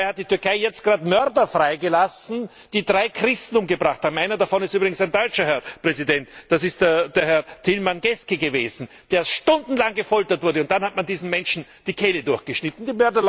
Dabei hat die Türkei jetzt gerade Mörder freigelassen, die drei Christen umgebracht haben. Einer davon ist übrigens ein Deutscher. Das ist Herr Tilmann Geske, der stundenlang gefoltert wurde, und dann hat man diesen Menschen die Kehle durchgeschnitten.